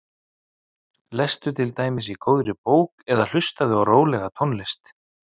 Lestu til dæmis í góðri bók eða hlustaðu á rólega tónlist.